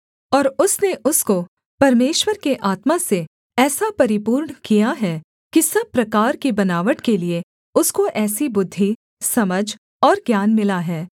और उसने उसको परमेश्वर के आत्मा से ऐसा परिपूर्ण किया है कि सब प्रकार की बनावट के लिये उसको ऐसी बुद्धि समझ और ज्ञान मिला है